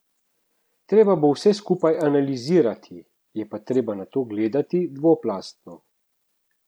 Treba bo vse skupaj analizirati, je pa treba na to gledati dvoplastno.